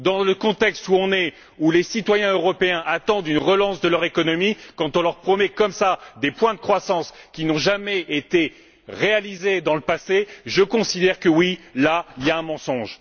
Dans le contexte où les citoyens européens attendent une relance de leur économie, quand on leur promet comme cela des points de croissance qui n'ont jamais été réalisés dans le passé, je considère que oui, là, il y a mensonge.